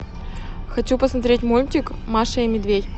хочу посмотреть мультик маша и медведь